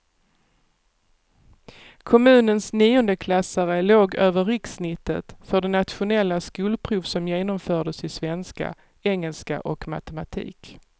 Kommunens niondeklassare låg över rikssnittet för det nationella skolprov som genomfördes i svenska, engelska och matematik.